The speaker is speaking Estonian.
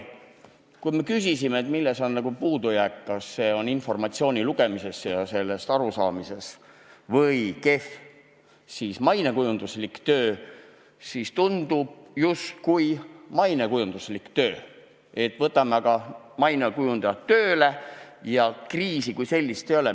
Kui küsisime, milles oli puudujääke, kas neid oli informatsiooni lugemises ja sellest arusaamises või oli asi kehvas mainekujunduslikus töös, siis võib tunduda, et asi oli justkui mainekujunduslikus töös, et võtame aga mainekujundajad tööle ja kriisi kui sellist ei ole.